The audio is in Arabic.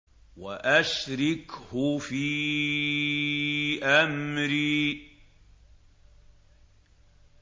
وَأَشْرِكْهُ فِي أَمْرِي